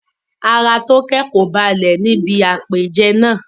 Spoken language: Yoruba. Ara Toke kò balẹ̀ ní ibi àpèjẹ náà.